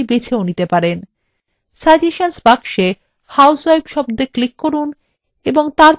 suggestions box housewife শব্দএ click করুন এবং তারপর change বোতামে click করুন